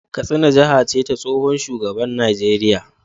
Katsina jiha ce ta tsohon shugaban Najeriya